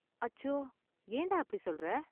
அச்சோ, ஏன்டா அப்படி சொல்ற?